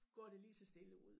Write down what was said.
Går det lige så stille ud